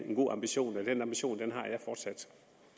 en god ambition og den ambition har jeg fortsat